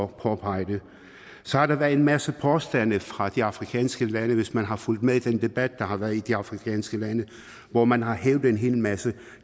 påpege det så har der været en masse påstande fra de afrikanske lande hvis man har fulgt med i den debat der har været i de afrikanske lande hvor man har hævdet en hel masse